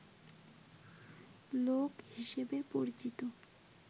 লোক হিসেবে পরিচিত